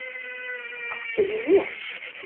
Áttu í nös?